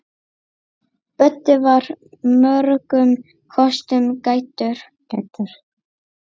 Böddi var mörgum kostum gæddur.